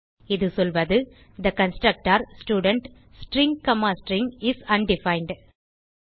இது சொல்வது the constructor student string comma string is undefined